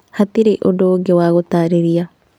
Hatirĩ ũndũ ũngĩ wa gũtarĩria